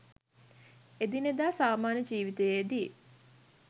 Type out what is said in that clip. එදිනෙදා සාමාන්‍ය ජීවිතයේදී